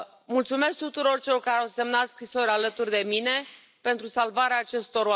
Mulțumesc tuturor celor care au semnat scrisori alături de mine pentru salvarea acestor oameni.